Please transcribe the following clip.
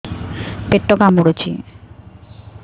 ପେଟ କାମୁଡୁଛି